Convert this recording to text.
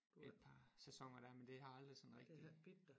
Et par sæsoner dér men det har aldrig sådan rigtig